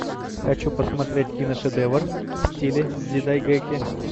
хочу посмотреть киношедевр в стиле дзидайгэки